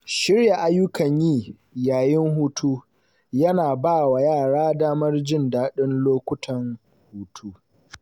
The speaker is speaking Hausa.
Shirya ayyukan yi yayin hutu yana ba wa yara damar jin daɗin lokutan hutu.